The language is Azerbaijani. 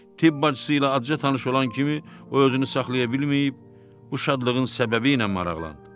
Tibb bacısı ilə aca tanış olan kimi, o özünü saxlaya bilməyib bu şadlığın səbəbi ilə maraqlandı.